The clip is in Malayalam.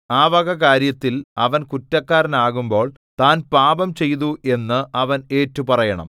ആ വക കാര്യത്തിൽ അവൻ കുറ്റക്കാരനാകുമ്പോൾ താൻ പാപംചെയ്തു എന്ന് അവൻ ഏറ്റുപറയണം